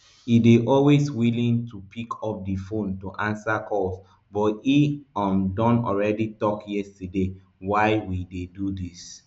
e dey always willing to pick up di phone to answer calls but e um don already tok yesterday why we dey do dis